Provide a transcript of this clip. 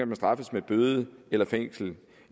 kan straffes med bøde eller fængsel